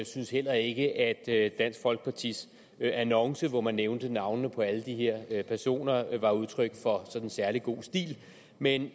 synes heller ikke at dansk folkepartis annonce hvor man nævnte navnene på alle de her personer var udtryk for særlig god stil men